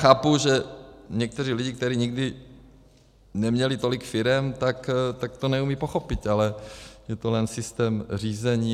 Chápu, že někteří lidé, kteří nikdy neměli tolik firem, tak to neumějí pochopit, ale je to jen systém řízení.